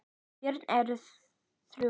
Börn þeirra eru þrjú.